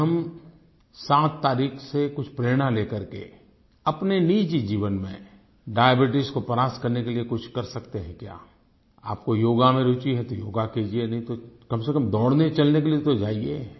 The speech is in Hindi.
क्या हम 7 तारीख से कुछ प्रेरणा ले कर के अपने निजी जीवन में डायबीट्स को परास्त करने के लिए कुछ कर सकते है क्या आपको योग में रूचि है तो योग कीजिए नहीं तो कम से कम दौड़ने चलने के लिए तो जाइये